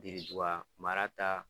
mara ta